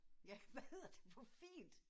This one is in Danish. Ja hvad hedder det på fint